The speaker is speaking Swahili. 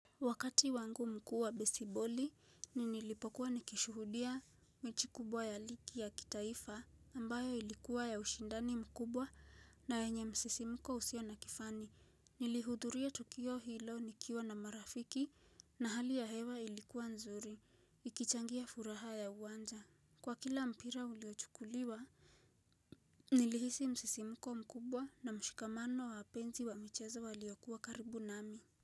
Wakati wangu mkuu wa besiboli ni nilipokuwa nikishuhudia mechi kubwa ya ligi ya kitaifa ambayo ilikuwa ya ushindani mkubwa na yenye msisimuko usio na kifani nilihudhuria tukio hilo nikiwa na marafiki na hali ya hewa ilikuwa nzuri ikichangia furaha ya uwanja kwa kila mpira uliochukuliwa nilihisi msisimuko mkubwa na mshikamano wa wapenzi wa michezo waliokuwa karibu nami.